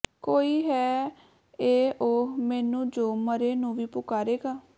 ਕੋਈ ਹੈ ਏ ਓਹ ਮੈਨੂੰ ਜੋ ਮਰੇ ਨੂੰ ਵੀ ਪੁਕਾਰੇਗਾ